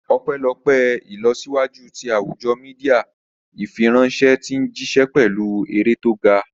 Ọpẹ́lọpẹ́ ìlọsíwájú ti àwùjọ Mídíà, ìfiránṣẹ́ ti ń jíṣẹ́ pẹ̀lú eré tó ga